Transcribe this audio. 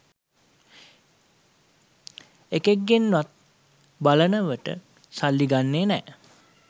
එකෙක්ගෙන්වත් බලනවට සල්ලි ගන්නෙ නෑ